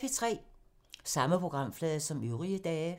Samme programflade som øvrige dage